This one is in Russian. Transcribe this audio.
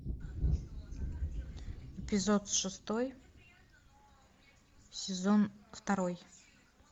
эпизод шестой сезон второй